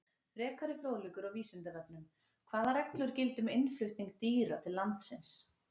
Frekari fróðleikur á Vísindavefnum: Hvaða reglur gilda um innflutning dýra til landsins?